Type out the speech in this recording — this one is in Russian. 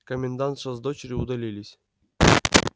комендантша с дочерью удалились